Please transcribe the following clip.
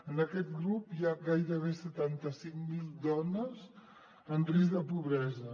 en aquest grup hi ha gairebé setanta cinc mil dones en risc de pobresa